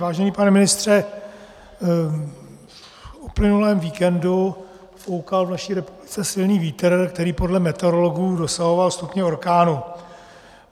Vážený pane ministře, v uplynulém víkendu foukal v naší republice silný vítr, který podle meteorologů dosahoval stupně orkánu.